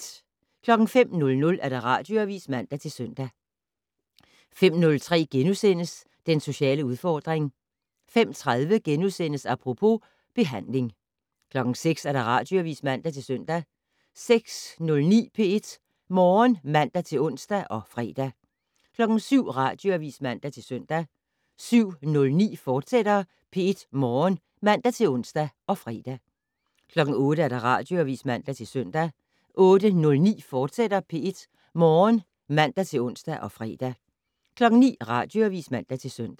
05:00: Radioavis (man-søn) 05:03: Den sociale udfordring * 05:30: Apropos - behandling * 06:00: Radioavis (man-søn) 06:09: P1 Morgen (man-ons og fre) 07:00: Radioavis (man-søn) 07:09: P1 Morgen, fortsat (man-ons og fre) 08:00: Radioavis (man-søn) 08:09: P1 Morgen, fortsat (man-ons og fre) 09:00: Radioavis (man-søn)